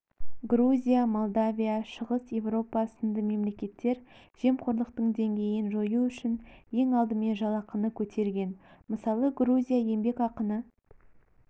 грузия молдавия шығыс-еуропа сынды мемлекеттер жемқорлықтың деңгейін жою үшін ең алдымен жалақыны көтерген мысалы грузия еңбекақыны